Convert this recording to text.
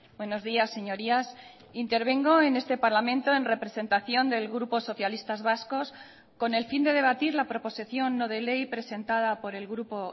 buenos días señorías intervengo en este parlamento en representación del grupo socialistas vascos con el fin de debatir la proposición no de ley presentada por el grupo